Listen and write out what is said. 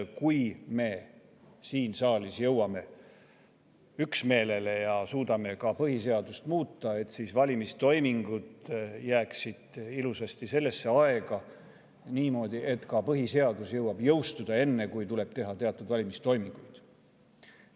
Kui me siin saalis jõuame üksmeelele ja suudame ka põhiseadust muuta, siis valimistoimingud jääksid ilusasti sellesse aega, niimoodi, et ka põhiseaduse jõuaks jõustuda enne, kui tuleb teha teatud valimistoiminguid.